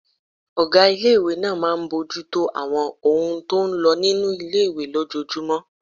Ọgá ilé-ìwé náà máa n bojútó àwọn ohun tó n lọ nínu ilé-ìwé lójojúmọ́